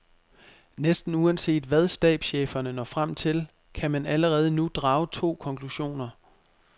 Næsten uanset hvad stabscheferne når frem til, kan man allerede nu drage to konklusioner.